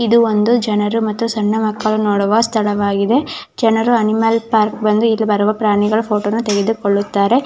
ಇದು ಒಂದು ಜನರು ಸಣ್ಣ ಮಕ್ಕಳು ನೋಡುವ ಸ್ಥಳವಾಗಿದೆ ಜನರು ಅನಿಮಲ್ ಪಾರ್ಕ್ ಇಲ್ಲಿ ಬರುವ ಪ್ರಾಣಿಗಳ ಫೋಟೋನ ತೆಗೆದುಕೊಳ್ಳುತ್ತಾರೆ.